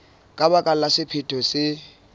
ka baka la sephetho se